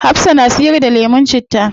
Hafsah na siyar da lemun citta